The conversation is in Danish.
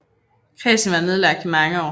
Kredsen var nedlagt i mange år